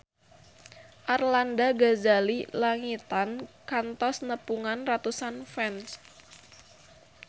Arlanda Ghazali Langitan kantos nepungan ratusan fans